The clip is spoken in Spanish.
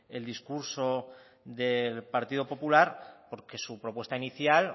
el discurso del partido popular porque en su propuesta inicial